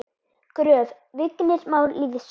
Gröf: Vignir Már Lýðsson